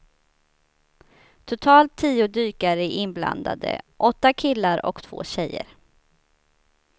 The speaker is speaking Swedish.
Totalt tio dykare är inblandade, åtta killar och två tjejer.